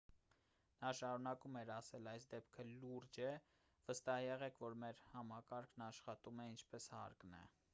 նա շարունակում էր ասել․«այս դեպքը լուրջ է։ վստահ եղեք որ մեր համակարգն աշխատում է ինչպես հարկն է»։